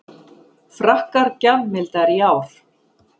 Frakkar gjafmildari í ár